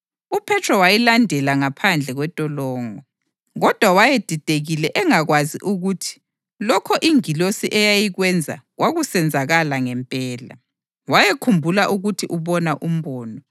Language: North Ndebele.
UPhethro wayilandela ngaphandle kwentolongo, kodwa wayedidekile engakwazi ukuthi lokho ingilosi eyayikwenza kwakusenzakala ngempela; wayekhumbula ukuthi ubona umbono.